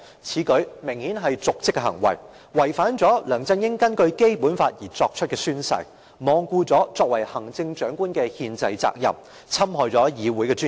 此舉明顯是瀆職行為，違反了梁振英根據《基本法》作出的宣誓，罔顧行政長官的憲制責任，侵害議會的尊嚴。